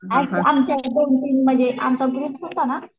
आमच्या एक दोन तीनमध्ये आमचा ग्रुप होता ना